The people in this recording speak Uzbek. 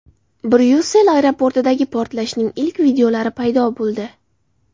Bryussel aeroportidagi portlashning ilk videolari paydo bo‘ldi.